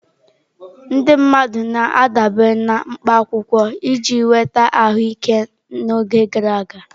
Ndị mmadụ na-adabere na mkpa akwụkwọ iji nweta ahụike n'oge gara aga.